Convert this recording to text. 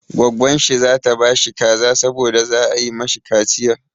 Gwaggon shi za ta ba shi kaza saboda za a yi mashi kaciya.